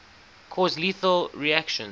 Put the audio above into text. cause lethal reactions